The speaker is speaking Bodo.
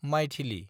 माइथिलि